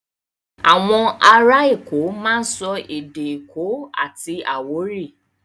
À̀wọn ará Èkó máa ń sọ èdè èkó àti àwórì.